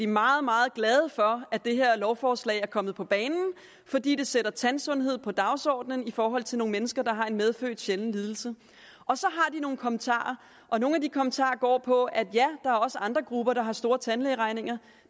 meget meget glade for at det her lovforslag er kommet på banen fordi det sætter tandsundhed på dagsordenen i forhold til nogle mennesker der har en medfødt sjælden lidelse og så har de nogle kommentarer nogle af de kommentarer går på at ja der er også andre grupper der har store tandlægeregninger